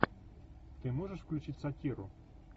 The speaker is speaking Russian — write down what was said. ты можешь включить сатиру